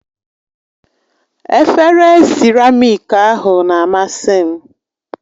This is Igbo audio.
Efere siramiiki ahụ na-amasị m